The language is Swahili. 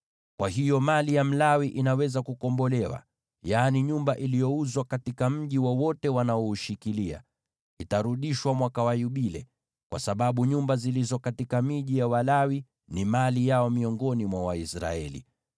Kwa hiyo mali ya Mlawi inaweza kukombolewa, yaani nyumba iliyouzwa katika mji wowote wanaoushikilia itarudishwa mwaka wa Yubile, kwa sababu nyumba zilizo katika miji ya Walawi ni mali yao miongoni mwa Waisraeli.